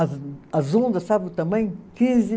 As as ondas, sabe o tamanho? Quinze